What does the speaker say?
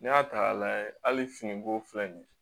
N'i y'a ta k'a layɛ hali finiko filɛ nin ye